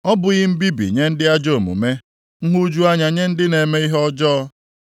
Ọ bụghị mbibi nye ndị ajọ omume, nhụju anya nye ndị na-eme ihe ọjọọ?